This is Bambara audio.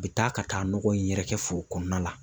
U bɛ taa ka taa nɔgɔ in yɛrɛkɛ foro kɔnɔna na.